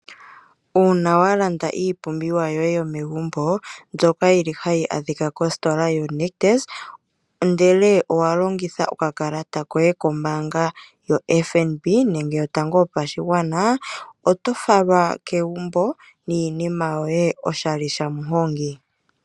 Uuna wa landa iipumbiwa yoye yomegumbo mbyoka yili hayi adhika kositola yo Nictus ndele owa longitha oka kalata koye kombaanga yo FNB nenge ombaanga yotango yopashigwana. Oto falwa kegumbo niinima yoye oshali shamuhongi.